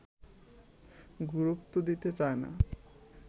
গুরুত্ব দিতে চায় না